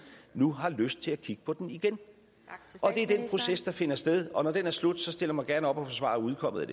nu har lyst til at kigge på den igen det er den proces der finder sted og når den er slut stiller jeg mig gerne op og forsvarer udkommet af